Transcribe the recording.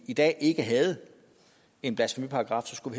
i dag ikke havde en blasfemiparagraf skulle